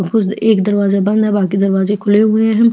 कुछ एक दरवाज बंद है बाकि दरवाजे खुले हुए है।